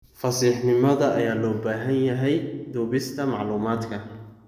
Fasiixnimada ayaa loo baahan yahay duubista macluumaadka.